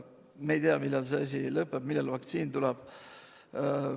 Me ei tea, millal see asi lõpeb, millal vaktsiin tuleb.